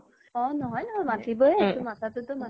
অ নহয় নহয় মাতিবই এইতো মাতাতোটো মাতিবই